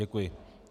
Děkuji.